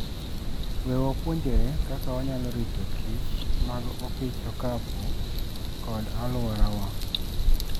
We wapuonjre kaka wanyalo ritokich mag opich okapu kod alworawa.